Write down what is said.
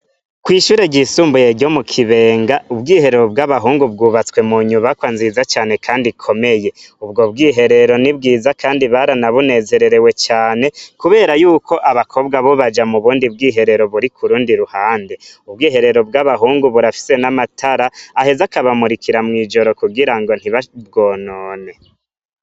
Kw'ishure ryisumbuye ryo mu Kibenga ,ubwiherero bw'abahungu bwubatswe mu nyubakwa nziza cane Kandi ikomeye, ubwob bwiherero ni bwiza Kandi baranabunezererewe cane kubera Yuko abakobwo bo baja nubundi bwihero buri kurundi ruhande, ubwiherero bw'abahungu burafise n'amatara aheza akabamurikira mw'ijoro kugirango ntibabwonone.